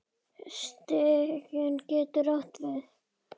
Stiki getur átt við